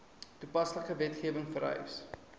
toepaslike wetgewing vereis